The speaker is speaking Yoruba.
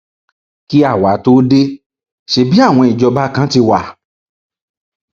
kí àwa tóo dé ṣebí àwọn ìjọba kan ti wá